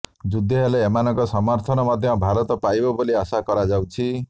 ଯୁଦ୍ଧ ହେଲେ ଏମାନଙ୍କ ସମର୍ଥନ ମଧ୍ୟ ଭାରତ ପାଇବ ବୋଲି ଆଶା କରାଯାଉଛି